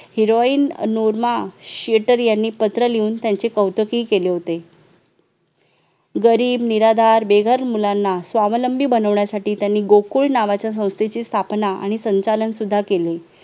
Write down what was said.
heroine Norma Shearer यांनी पत्र लिहून त्यांचे कौतुकी केले होते गरीब, निराधार, बेघर मुलांना स्वावलंबी बनवण्यासाठी त्यांनी गोकुळ नावाच्या संस्थेची स्थापना आणि संचालन सुद्धा केले